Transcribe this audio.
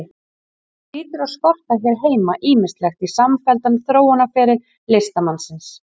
Því hlýtur að skorta hér heima ýmislegt í samfelldan þróunarferil listamannsins.